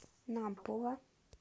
нампула